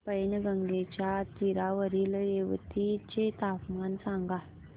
पैनगंगेच्या तीरावरील येवती चे तापमान सांगा